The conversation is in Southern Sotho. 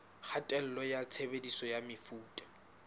kgatello ya tshebediso ya mefuta